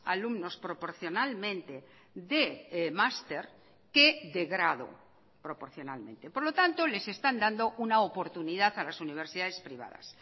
alumnos proporcionalmente de máster que de grado proporcionalmente por lo tanto les están dando una oportunidad a las universidades privadas